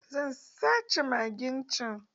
Zan sace magen can.